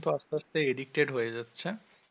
আস্তে আস্তে addicted হয়ে যাচ্ছে,